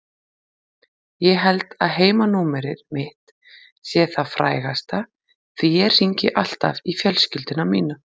Ég held að heimanúmerið mitt sé það frægasta því ég hringi alltaf í fjölskylduna mína.